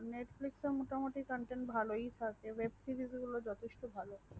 netflix মোটামোটি contents ভালোই থাকে। web series গুলো যথেষ্ট ভালো ।